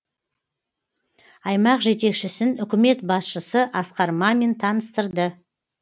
аймақ жетекшісін үкімет басшысы асқар мамин таныстырды